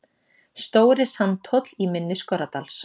Stóri Sandhóll, í mynni Skorradals.